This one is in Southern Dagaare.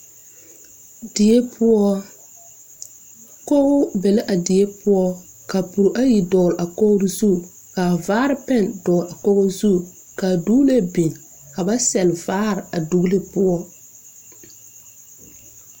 Die poɔ koge be la a die poɔ kapure ayi dɔgle a kogre zu ka vaare pɛn dɔgle a kogo zu ka duglee biŋ ka ba sɛle vaare a duglee poɔ.